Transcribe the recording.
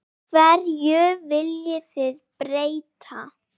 Hverju viljið þið breyta?